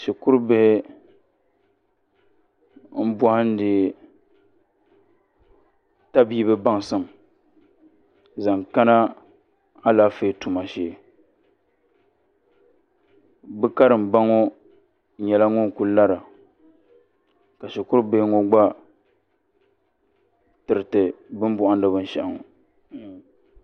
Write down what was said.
Shikurubihi m-bɔhindi tabiibi baŋsim zaŋ kana alaafee tuma shee bɛ karimba ŋɔ nyɛla ŋun lara ka shikurubihi ŋɔ gba tiriti bɛ ni bɔhindi binshɛɣu ŋɔ.